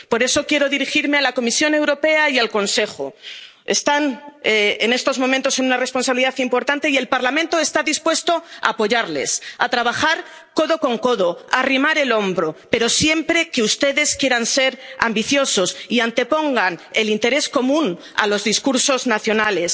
mirar al futuro. Por eso quiero dirigirme a la Comisión Europea y al Consejo tienen en estos momentos una responsabilidad importante, y el Parlamento está dispuesto a apoyarles, a trabajar codo con codo, a arrimar el hombro, pero siempre que ustedes quieran ser ambiciosos y antepongan el interés común a los